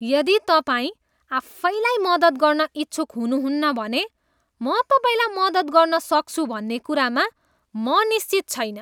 यदि तपाईँ आफैलाई मद्दत गर्न इच्छुक हुनुहुन्न भने म तपाईँलाई मद्दत गर्न सक्छु भन्ने कुरामा म निश्चित छैन।